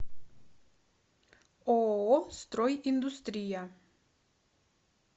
ооо строй индустрия